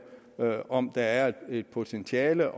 om der er et potentiale